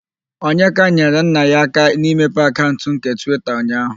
Onyeka nyere nna ya aka n'ịmepe akaụnt nke Twita ụnyaaahụ.